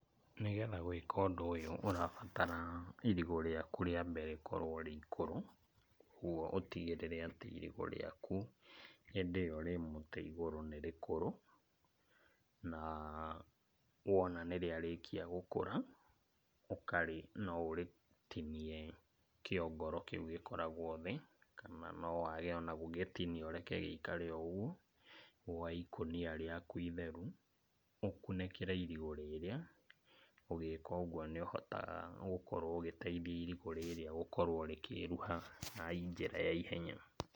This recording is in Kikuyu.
Nĩgetha gwĩka ũndũ ũyũ ũrabatara irigũ rĩaku rĩambe rĩkorwo rĩ ikũrũ, kuoguo ũtigĩrĩre atĩ irigũ rĩaku hĩndĩ ĩyo rĩ mũtĩ igũrũ nĩ rĩkũrũ. Na, wona nĩrĩarĩkia gũkũra ũkarĩ no ũrĩtinie kĩongoro kĩu gĩkoragwo thĩ, kana no wage ona gũgĩtinia ũreke gĩikare o ũguo, woe ikũnia rĩaku itheru, ũkunĩkĩre irigũ rĩrĩa, ũgĩka ũguo nĩũhotaga gũkorwo ũgĩteithĩrĩria irigũ rĩrĩa gũkorwo rĩkĩruha na njĩra ya ihenya.